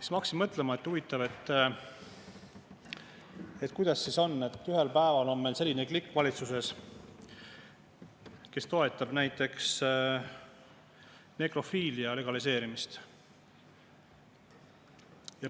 Ma hakkasin mõtlema, et huvitav, kuidas siis on, kui ühel päeval on meil valitsuses selline klikk, kes toetab näiteks nekrofiilia legaliseerimist.